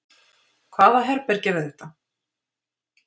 Hvaða herbergi er þetta?